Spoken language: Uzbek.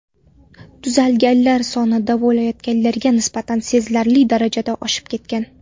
Tuzalganlar soni davolanayotganlarga nisbatan sezilarli darajada oshib ketgan.